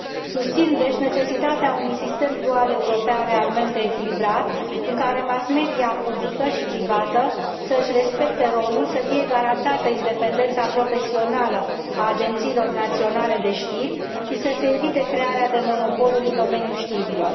Susțin, deci, necesitatea unui sistem dual european realmente echilibrat, în care mass media publică și privată să și respecte rolul, să fie garantată independența profesională a agențiilor naționale de știri și să se evite crearea de monopoluri în domeniul știrilor.